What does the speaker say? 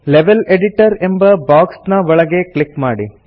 level editor ಎಂಬ box ನ ಒಳಗೆ ಕ್ಲಿಕ್ ಮಾಡಿ